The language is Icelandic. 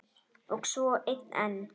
Og svo einn enn.